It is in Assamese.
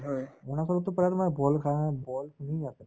অৰুণাচলততো প্ৰায় তোমাৰ boil খা boil আছে